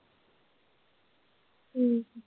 ਹਮ